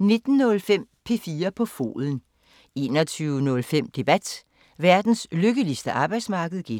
19:05: 4 på foden 21:05: Debat: Verdens lykkeligste arbejdsmarked (G)